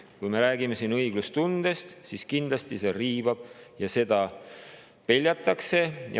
Kui me räägime siin õiglustundest, siis kindlasti saab öelda, et see riivab ja seda peljatakse.